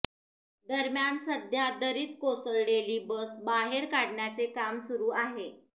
दरम्यान सध्या दरीत कोसळलेली बस बाहेर काढण्याचे काम सुरु आहे